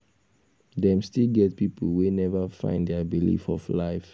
dem still get pipo wey neva find dia belief of life